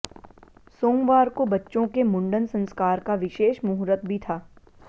सोमवार को बच्चों के मंुडन संस्कार का विशेष मुहूर्त भी था